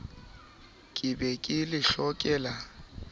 ke be ke le hlokela